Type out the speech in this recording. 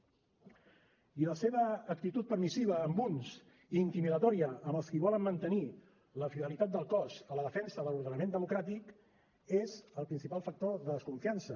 i la seva actitud permissiva amb uns i intimidatòria amb els qui volen mantenir la fidelitat del cos a la defensa de l’ordenament democràtic és el principal factor de desconfiança